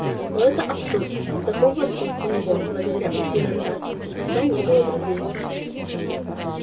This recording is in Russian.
но это абсурд до хогвартса у него благодаря усилиям дадли никогда не было друзей